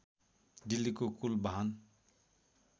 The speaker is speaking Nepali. दिल्लीको कुल बाहन